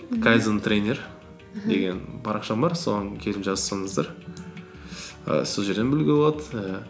кайдзен тренер деген парақшам бар соған келіп жазылсаңыздар і сол жерден білуге болады ііі